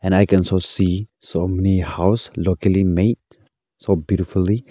and i can so see so many house locally made so beautifully.